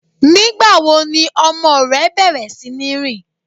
Nígbàwo ni ọmọ rẹ bẹ̀rẹ̀ sí ni rin?